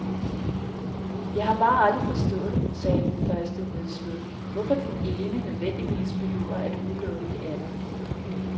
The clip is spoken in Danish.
Jeg har bare aldrig forstået, sagde den første nedslået, hvorfor det ene nødvendigvis behøver at udelukke det andet.